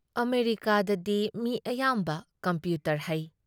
ꯑꯃꯦꯔꯤꯀꯥꯗꯗꯤ ꯃꯤ ꯑꯌꯥꯝꯕ ꯀꯝꯄ꯭ꯌꯨꯇꯔ ꯍꯩ ꯫